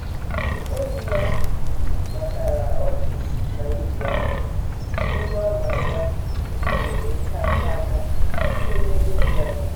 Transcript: ọyị ya natara ọchị na ibi ọma; onye ọ ma ama ofere nkenke aka site n'ebe dị anya.